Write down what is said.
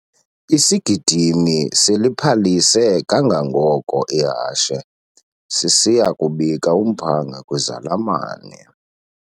Isigidimi siliphalise kangangoko ihashe sisiya kubika umphanga kwizalamane.